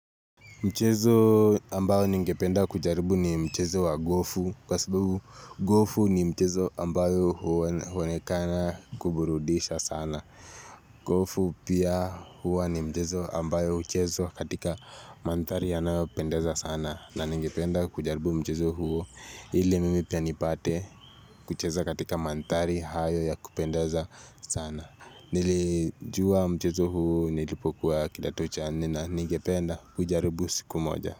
Mchezo ambayo ningependa kujaribu ni mchezo wa gofu kwa sababu gofu ni mchezo ambayo huonekana kuburudisha sana. Gofu pia huwa ni mchezo ambayo huchezwa katika mantari yanaopendeza sana na ningependa kujaribu mchezo huo ili mimi pia nipate kucheza katika mantari hayo ya kupendeza sana. Nilijuwa mchezo huu nilipokuwa kidato cha nne ningependa kujaribu sikumoja.